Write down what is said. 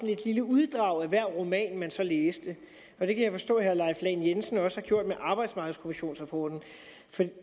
et lille uddrag af hver roman man så læste og det kan jeg forstå at herre leif lahn jensen også har gjort med arbejdsmarkedskommissionsrapporten